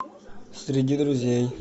среди друзей